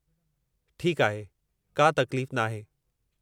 ठीकु आहे, का तकलीफ़ नाहे।